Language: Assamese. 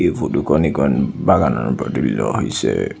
এই ফটো খন ইকন বাগানৰ হৈছে।